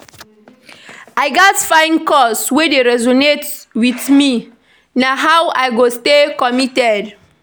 I gats find cause wey dey resonate with me; na how I go stay committed.